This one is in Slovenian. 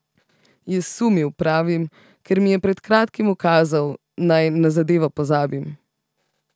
Je sumil, pravim, ker mi je pred kratkim ukazal, naj na zadevo pozabim.